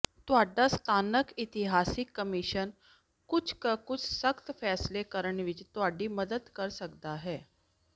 ਤੁਹਾਡਾ ਸਥਾਨਕ ਇਤਿਹਾਸਿਕ ਕਮਿਸ਼ਨ ਕੁਝ ਕੁ ਸਖਤ ਫੈਸਲੇ ਕਰਨ ਵਿੱਚ ਤੁਹਾਡੀ ਮਦਦ ਕਰ ਸਕਦਾ ਹੈ